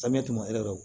ekɔli